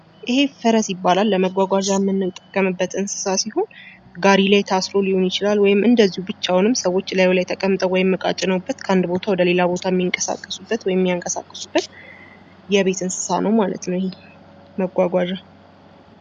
ይህ ፈረስ ይባላል። ለመጓጓዣ የምንጠቀምበት እንስሳት ሲሆን ጋሪ ላይ ታስሮ ሊሆን ይችላል ወይም ደግሞ እንዲሁ ብቻውን ሰዎች ላዩ ላይ ተቀምጠውበት ወይም እቃ ጭነውበት ከአንድ ቦታ ወደ ሌላ ቦታ ሚንቀሳቀሱበት ወይም የሚያንቀሳቅሱበት የቤት እንስሳት ነው ይህ መጓጓዣ።